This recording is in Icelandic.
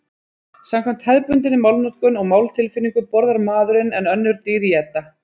Samkvæmt hefðbundinni málnotkun og máltilfinningu borðar maðurinn en önnur dýr éta.